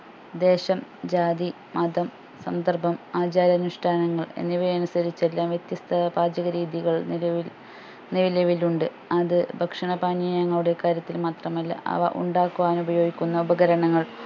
ദേശം ജാതി മതം സന്ദർഭം ആചാരാനുഷ്ടാനങ്ങൾ എന്നിവ അനുസരിച്ച് എല്ലാം വ്യത്യസ്ത പാചകരീതകൾ നിലവിൽ നിലവിലുണ്ട് അത് ഭക്ഷണപാനീയങ്ങളുടെ കാര്യത്തിൽ മാത്രമല്ല അവ ഉണ്ടാക്കുവാൻ ഉപയോഗിക്കുന്ന ഉപകരണങ്ങൾ